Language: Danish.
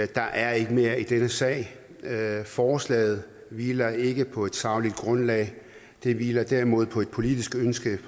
der er ikke mere i denne sag forslaget hviler ikke på et sagligt grundlag det hviler derimod på et politisk ønske